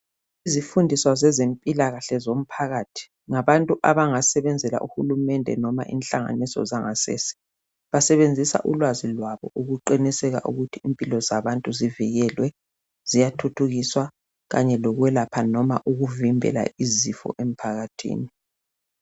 Izifundiswa zempilakahle zomphakathi ngabantu abangasebenzela uhulumende noma inhlanganiso zangasese. Basebenzisa ulwazi lwabo ukuqiniseka ukuthi impilo zabantu zivikelwe, ziyathuthukiswa kanti lokwelapha loba ukuvimbela izifo emphakathini.